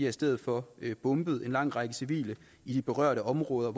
i stedet for bombet en lang række civile i de berørte områder